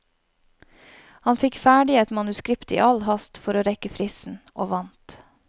Han fikk ferdig et manuskript i all hast for å rekke fristen, og vant.